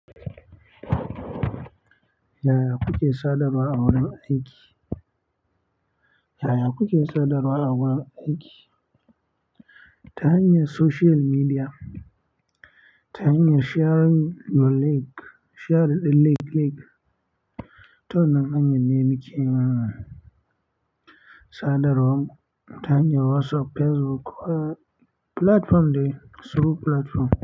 Yaya kuke sadarwa a wurin aiki? Yaya kuke sadarwa a wurin aiki ta hanyar social media, ta hanyar sharing your link, share the link, link tawannan hanyar ne, muke sadarwan mu ta hanyar WhatsApp, Facebook ko platform dai, suru platform.